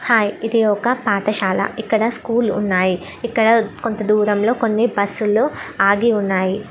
Hi ఇది ఒక పాఠశాలా. ఇక్కడ స్కూల్ ఉన్నాయి. ఇక్కడ కొంత దూరంలో కొన్ని బస్సు లు ఆగి ఉన్నాయి.